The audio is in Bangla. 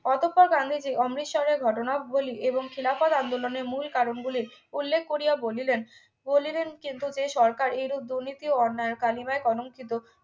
অতফত গান্ধীজি অমৃতসরের ঘটনাবলী এবং খিলাফত আন্দোলনের মূল কারণ গুলির উল্লেখ করিয়া বলিলেন বলিলেন কিন্তু এতে সরকার এইরূপ দুর্নীতি ও অন্যায় কালিমায় কলঙ্কিত